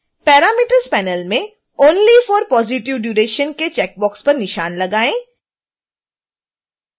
parameters panel में only for positive duration के checkbox पर निशान लगाएँ